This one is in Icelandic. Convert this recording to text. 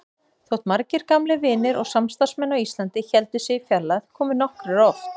Þótt margir gamlir vinir og samstarfsmenn á Íslandi héldu sig í fjarlægð komu nokkrir oft.